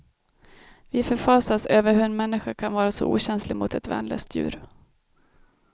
Vi förfasas över hur en människa kan vara så okänslig mot ett värnlöst djur.